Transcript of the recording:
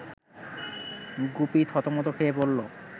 গুপি থতমত খেযে বলল